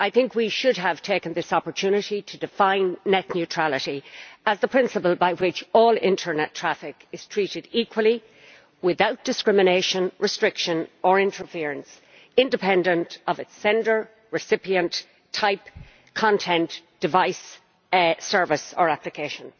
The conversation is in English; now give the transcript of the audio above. We should have taken this opportunity to define net neutrality as the principle by which all internet traffic is treated equally without discrimination, restriction or interference, independent of its sender, recipient, type, content, device, service or application.